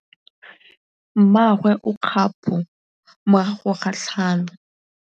Mmagwe o kgapô morago ga tlhalô.